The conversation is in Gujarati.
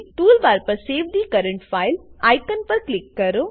ટૂલબાર પર save the current file icon પર ક્લિક કરો